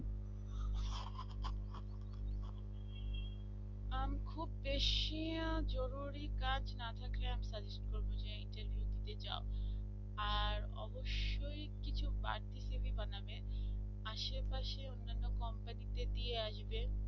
খুব বেশি জরুরী কাজ না থাকলে আমি suggest করবো যে interview দিতে যাও আর অবশ্যই কিছু বাড়তি cv বানাবে আশেপাশে অন্যান্য কোম্পানিতে দিয়ে আসবে